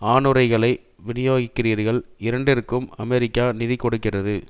ஆணுறைகளை வினியோகிக்கின்றீர்கள் இரண்டிற்கும் அமெரிக்கா நிதி கொடுக்கிறது